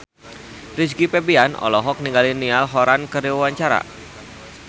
Rizky Febian olohok ningali Niall Horran keur diwawancara